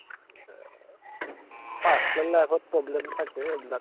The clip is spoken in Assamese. personal life ত problem থাকেই এইবিলাক